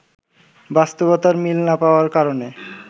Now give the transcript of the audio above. বাস্তবতার মিল না পাওয়ার কারণে